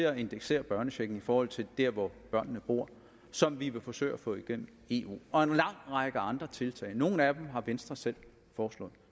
at indeksere børnechecken i forhold til der hvor børnene bor som vi vil forsøge at få igennem i eu og en lang række andre tiltag nogle af dem har venstre selv foreslået